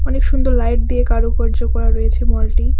অনেক সুন্দর লাইট দিয়ে কারুকার্য করা রয়েছে মলটি।